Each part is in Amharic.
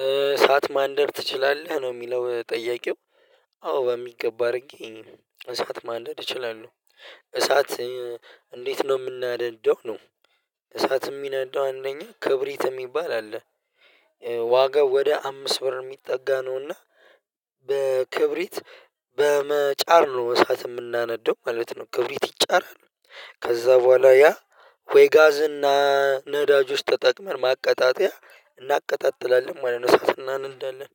''እሳት ማንደድ ትችላለህ?"" ነው የሚለው ጠያቂው አዎ በሚገባ አድርጌ እሳት ማንደድ እችላለሁ እሳት እንዴት ነው የምናደደው ነው እሳት የሚነዳው አንደኛ ክብሪት የሚባል አለ ዋጋው ወደ አምስት ብር የሚጠጋ ነውና በክብሪት በመጫር ነው እሳት የምናነደው ማለት ነው ክብሪት ይጫራሉ ከዛ በኋላ ያ ወይ ጋዝ እና ነዳጅ ውስጥ ተጠቅመን ማቀጣጠያ እናቀጣጥላለን ማለት ነው ሰዓትና እንዳለን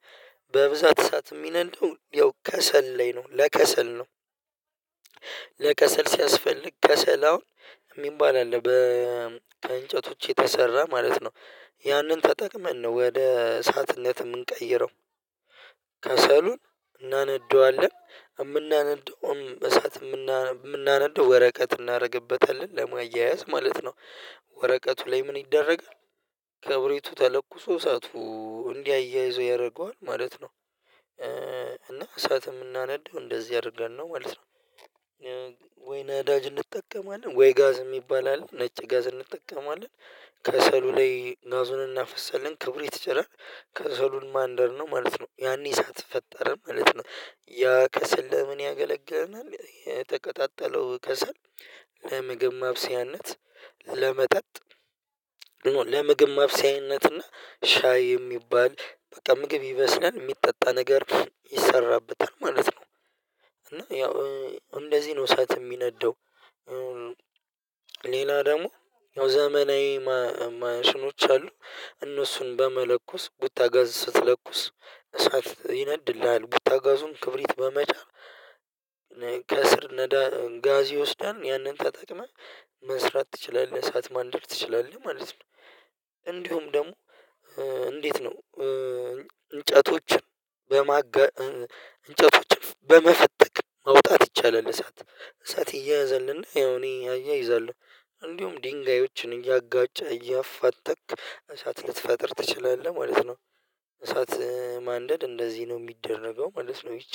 በብዛት ሰዓት የሚነደው ያው ከሰል ላይ ነው ለከሰል ነው ለከሰል ሲያስፈልግ ከሰል አሁን የሚባል አለ በእንጨቶች የተሰራ ማለት ነው ያንን ተጠቅመን ነው ወደ እሳትነት የምንቀይረው ከሰሉን እናነደዋለን የምናነደውም እሳት የምናነደው ወረቀት እናደርግበታለን ደግሞ አያያዝ ማለት ነው ወረቀቱ ላይ ምን ይደረጋል? ከብሪቱ ተለኩሶ ሰዓቱ እንዲህ አያይዞ ያደርገዋል ማለት ነው እና እሳትም እናነዳው እንደዚህ አድርገን ነው ማለት ነው። ወይ ነዳጅ እንጠቀማለን ወይ ጋዝ የሚባል አለ ነጭ ጋዝ እንጠቀማለን ከሰሉ ላይ ጋዙን እናፈሰለን ክብር የተጨረረ ከሰሉን ማንደር ነው ማለት ነው ያኔ ሳትፈጠረን ማለት ነው ያ ከስል ለምን ያገለገለናል የተቀጣጠለው ከሰል ለምግብ ማብሰያነት፤ ለመጠጥ፤ ለምግብ ማብሰያነት እና ሻይ የሚባል በቃ ምግብ ይበስላል የሚጠጣ ነገር ይሰራበታል ማለት ነው እና ያው እንደዚህ ነው ሰዓት የሚነደው ሌላ ደግሞ ያው ዘመናዊ ማሽኖች አሉ እነሱን በመለኮስ ቡታጋዝ ስትለኩስ እሳት ይነድልሃል ቡታጋዙም ክብሪት በመቻል ከስር ጋዝ ይወስዳል ያንን ተጠቅመህ መስራት ትችላለህ እሳት ማንደድ ትችላለህ ማለት ነው እንዲሁም ደግሞ እንዴት ነው እንጨቶችን በማገድ እንጨቶችን በመፈተክ ማውጣት ይቻላል እሳት እሳት እየያዘልና ያው እኔ አያይዛለሁ እንዲሁም ድንጋዮችን እያጋጨ እያፋጠቅክ እሳት ልትፈጥር ትችላለህ ማለት ነው እሳት ማንደድ እንደዚህ ነው የሚደረገው ማለት ነው